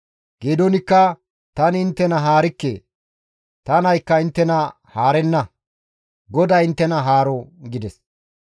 Geedoonikka, «Tani inttena haarikke; ta naykka inttena haarenna; GODAY inttena haaro!» gides.